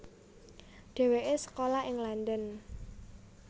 Dhéwéké sekolah ing London